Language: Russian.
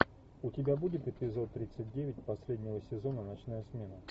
у тебя будет эпизод тридцать девять последнего сезона ночная смена